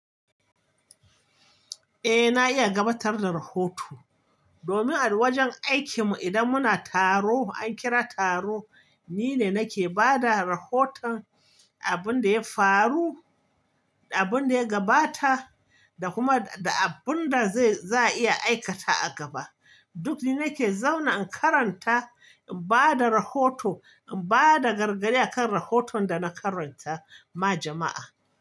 Eh, na iya gabatar da rahoto. Domin a wajen aikinmu idan muna taro, an kira taro, ni ne nake ba da rahoton abin da ya faru, abin da ya gabata da kuma abin da za a iya aikata a gaba. Duk da nake zauna in karanta, in ba da rahoto, in ba da gargadi a kan rahoton da na karanta ma jama'a.